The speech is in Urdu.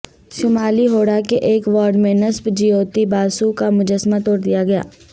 شمالی ہوڑہ کے ایک وارڈ میں نصب جیوتی باسو کا مجسمہ توڑ دیا گیا